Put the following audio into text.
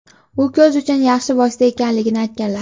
u ko‘z uchun yaxshi vosita ekanligini aytganlar.